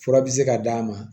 Fura bi se ka d'a ma